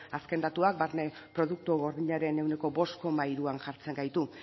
azken datuak barne produktu gordinaren ehuneko bost koma hiruan jartzen gaitu